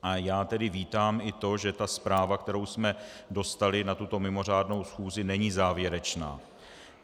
A já tedy vítám i to, že ta zpráva, kterou jsme dostali na tuto mimořádnou schůzi, není závěrečná.